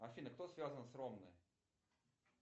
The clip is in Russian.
афина кто связан с ромной